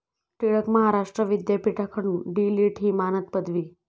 टिळक महाराष्ट्र विद्यापीठाकडून डी.लिट. ही मानद पदवी